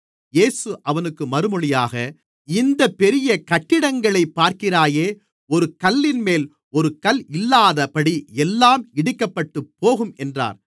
இயேசு அவனுக்கு மறுமொழியாக இந்தப் பெரிய கட்டிடங்களைக் பார்க்கிறாயே ஒரு கல்லின்மேல் ஒரு கல் இல்லாதபடி எல்லாம் இடிக்கப்பட்டுப்போகும் என்றார்